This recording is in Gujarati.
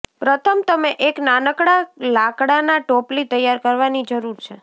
પ્રથમ તમે એક નાનકડા લાકડાના ટોપલી તૈયાર કરવાની જરૂર છે